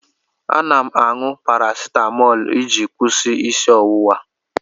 Ana m aṅụ parasitamọlụ iji kwụsị isi ọwụwa.